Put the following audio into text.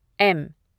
M